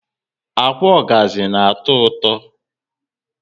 Ákwà ogazi na atọ ụtọ